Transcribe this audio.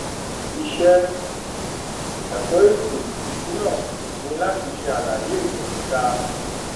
ìṣe ẹkọ ètò ìsúná ni láti ṣe àlàyé ìròyìn ìta